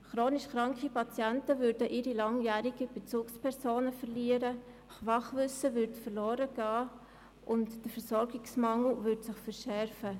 Chronisch kranke Patienten verlören ihre langjährigen Bezugspersonen, Fachwissen ginge verloren und der Versorgungsmangel würde sich verschärfen.